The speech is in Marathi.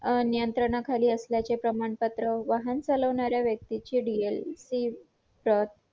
अं नियंत्रणाखाली असल्याचे प्रमाणपत्र वाहन चालवणाऱ्या व्यक्तीचे dl ची प्रत